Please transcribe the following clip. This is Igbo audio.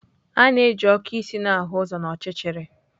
A na-eji okụ isi na-ahụ n'ọchịchịrị.